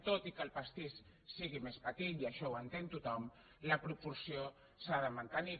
tot i que el pastís sigui més petit i això ho entén tothom la proporció s’ha de mantenir